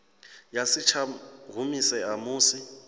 ya si tsha humisea musi